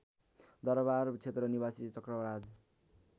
दरबारक्षेत्र निवासी चक्रराज